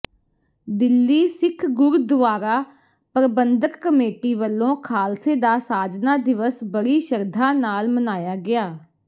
Delhi Sikh Gurdwara Prabandhak committee ਵਲੋਂ ਖਾਲਸੇ ਦਾ ਸਾਜਨਾ ਦਿਵਸ ਬੜੀ ਸ਼ਰਧਾ ਨਾਲ ਮਨਾਇਆ ਗਿਆ